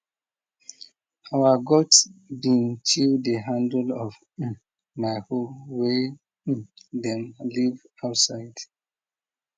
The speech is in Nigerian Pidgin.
our goat bin chew the handle of my hoe way dem leave outside